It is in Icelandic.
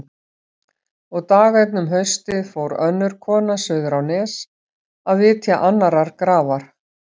Og dag einn um haustið fór önnur kona suður á Nes að vitja annarrar grafar.